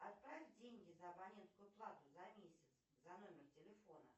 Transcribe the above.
отправь деньги за абонентскую плату за месяц за номер телефона